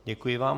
Děkuji vám.